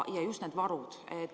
Ja just need varud.